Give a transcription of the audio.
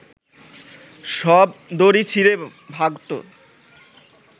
সব দড়ি ছিঁড়ে ভাগত